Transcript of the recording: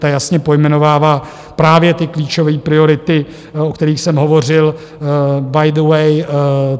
Ta jasně pojmenovává právě ty klíčové priority, o kterých jsem hovořil by the way.